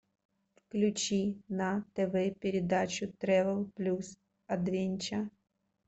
включи на тв передачу тревел плюс адвенче